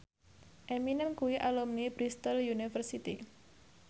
Eminem kuwi alumni Bristol university